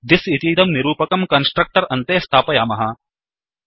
this इतीदं निरूपकं constructor अन्ते स्थापयामः